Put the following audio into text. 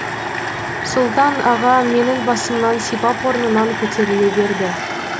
сұлтан аға менің басымнан сипап орнынан көтеріле берді